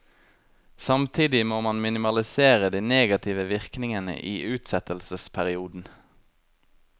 Samtidig må man minimalisere de negative virkningene i utsettelsesperioden.